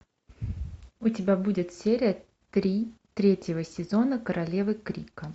у тебя будет серия три третьего сезона королевы крика